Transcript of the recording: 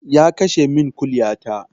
Ya kashe min kuliya ta